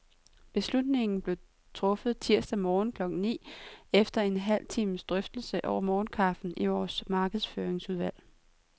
Beslutningen blev truffet tirsdag morgen klokken ni, efter en halv times drøftelse over morgenkaffen i vores markedsføringsudvalg.